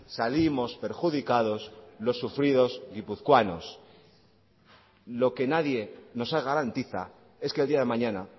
salimos perjudicados los sufridos guipuzcoanos lo que nadie nos garantiza es que el día de mañana